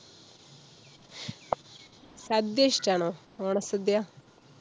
സദ്യ ഇഷ്ട്ടാണോ, ഓണ സദ്യ?